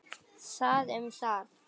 Það um það.